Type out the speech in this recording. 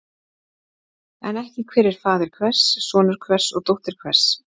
En ekki hver er faðir hvers, sonur hvers og dóttir hvers.